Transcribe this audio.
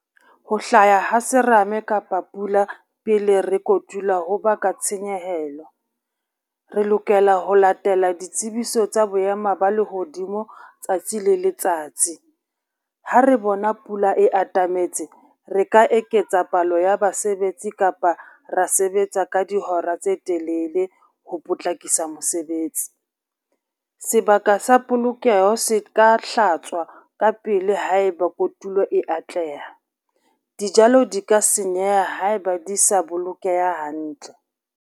Ho hlaya ha serame kapa pula pele rea kotula ho baka tshenyehelo. Re lokela ho latela ditsebiso tsa boema ba lehodimo tsatsi le letsatsi, ha re bona pula e atametse re ka eketsa palo ya basebetsi kapa ra sebetsa ka dihora tse telele ho potlakisa mosebetsi. Sebaka sa polokeho se ka hlatswa ka pele haeba kotulo e atleha, dijalo di ka senyeha ha eba di sa bolokeha hantle.